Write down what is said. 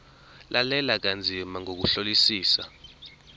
lalela kanzima ngokuhlolisisa